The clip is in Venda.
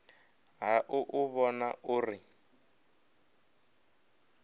ha u u vhona uri